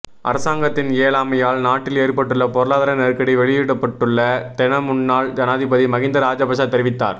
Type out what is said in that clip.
அரசாங்கத்தின் இயலாமையால் நாட்டில் ஏற்பட்டுள்ள பொருளாதார நெருக்கடி வெளிப்பட்டுள்ளதென முன்னாள் ஜனாதிபதி மஹிந்த ராஜபக்ஷ தெரிவித்தார்